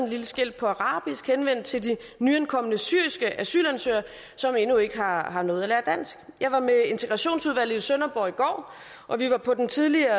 lille skilt på arabisk henvendt til de nyankomne syriske asylansøgere som endnu ikke har har nået at lære dansk jeg var med integrationsudvalget i sønderborg i går og vi var på den tidligere